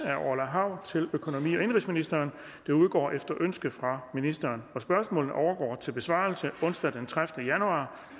af orla hav til økonomi og indenrigsministeren udgår efter ønske fra ministeren spørgsmålene overgår til besvarelse onsdag den tredivete januar